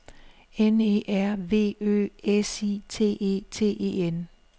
N E R V Ø S I T E T E N